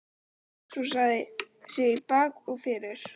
Hún jesúsaði sig í bak og fyrir.